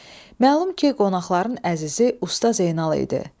Məlum ki, qonaqların əzizi Usta Zeynal idi.